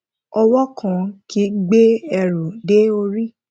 ọwọ kan kì í gbé ẹrù dé orí